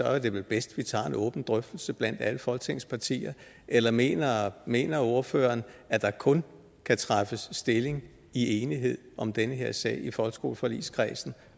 er det vel bedst at vi tager en åben drøftelse blandt alle folketingets partier eller mener mener ordføreren at der kun kan tages stilling i enighed om den her sag i folkeskoleforligskredsen